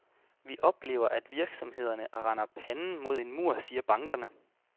Vi oplever, at virksomhederne render panden mod en mur, siger bankerne.